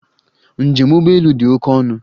Njem ụgbọ elu dị oke ọnụ.